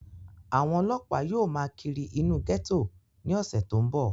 àwọn ọlọ́ọ̀pá yóò máa kírí inú gẹ́tò ní ọ̀sẹ̀ tó ń bọ̀